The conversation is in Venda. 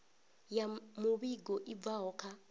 ya muvhigo i bvaho kha